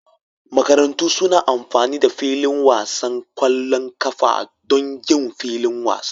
makarantu suna amfani da filin wasan ƙwallon ƙafa don yin filin wasa